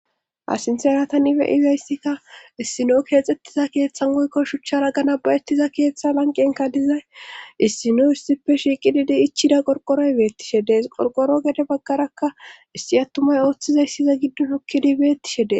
Ha sinteratan ibe ibeyssikka issino keexxettiza keeththan goykko shuchchara gana bayettiza keeththa lanqenka dizay issino istippe shiiqididi ichida qorqoroy beettishedes qorqoro gede baggarakka issi attumay ooththizayssiza giddo shokkidibeettishede.